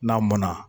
N'a mɔnna